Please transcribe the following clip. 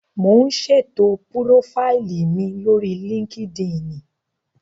Mò ún ṣètò púrófáìlì mi lórí líkídíìnì